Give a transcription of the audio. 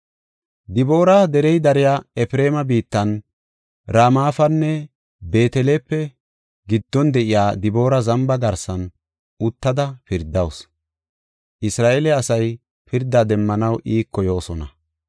Diboora derey dariya Efreema biittan, Ramapenne Beetelepe giddon de7iya Diboora zamba garsan uttada pirdawusu. Isra7eele asay pirda demmanaw iiko yoosona.